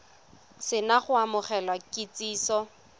se na go amogela kitsiso